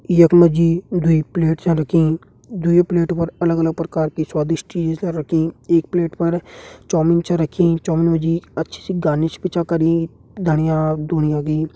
यख मजी दुई प्लेट छ रखीं। दुइ प्लेटों पर अलग अलग परकार की स्वादिष्ट चीज ल रखीं। एक प्लेट पर चौमिन छ रखीं। चौमिन मजी अच्छी सी गार्निश भी छ करी धणियां धुणियां की।